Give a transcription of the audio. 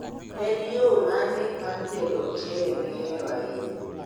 En yoo mane mar tedo ochele mihero ahinya?